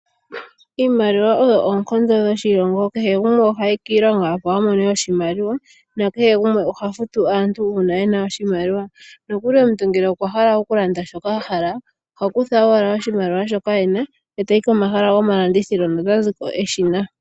Iimaliwa oyo oonkondo dhoshilongo. Kehe gumwe ohayi kiilonga opo a mone oshimaliwa, nakehe gumwe oha futu aantu uuna e na oshimaliwa. Nokuli omuntu ngele okwa hala okulanda shoka a hala oha kutha owala oshimaliwa shoka e na, e ta yi komahala gomalandithilo no ta ziko e shi na.